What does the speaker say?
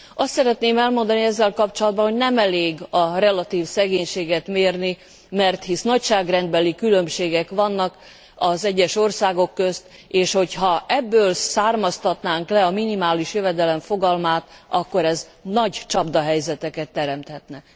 Azt szeretném elmondani ezzel kapcsolatban, hogy nem elég a relatív szegénységet mérni, hisz nagyságrendbeli különbségek vannak az egyes országok közt, és ha ebből származtatnánk le a minimális jövedelem fogalmát, akkor ez nagy csapdahelyzeteket teremthetne.